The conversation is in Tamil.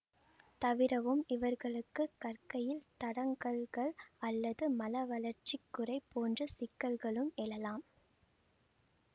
தவிரவும் இவர்களுக்கு கற்கையில் தடங்கல்கள் அல்லது மனவளர்ச்சிக் குறை போன்ற சிக்கல்களும் எழலாம்